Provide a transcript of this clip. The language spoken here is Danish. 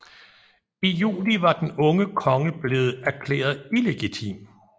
I juli var den unge konge blevet erklæret illegitim